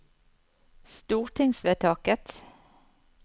stortingsvedtaket